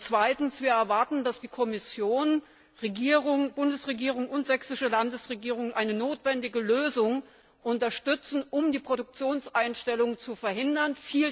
Zweitens erwarten wir, dass die Kommission, die Bundesregierung und die sächsische Landesregierung eine notwendige Lösung unterstützen, um die Produktionseinstellung zu verhindern.